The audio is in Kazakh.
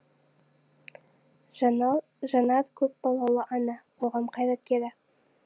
жанал жанар көпбалалы ана қоғам қайраткері